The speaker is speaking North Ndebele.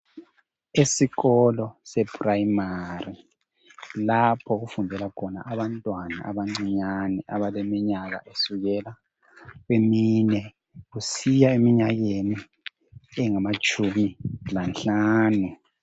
Esikolo sePrimary kulapho okufundela khona abantwana abancinyane, abaleminyaka esukela kwemine kusiya eminyakeni engamatshumi lanhlanu.